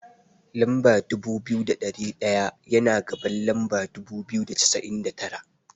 Lamba dubu biyu da ɗari ɗaya, yana gaban lamba dubu biyu da cassa'in da tara.